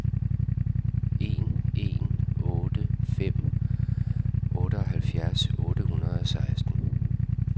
en en otte fem otteoghalvfjerds otte hundrede og seksten